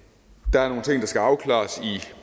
der er nogle ting der skal afklares her i